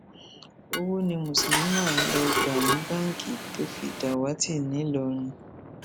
owó ni muslimah lọọ gbà ní báńkì tó fi dàwátì ńìlọrin